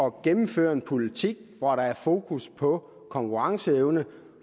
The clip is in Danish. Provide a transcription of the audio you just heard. at gennemføre en politik hvor der er fokus på konkurrenceevne og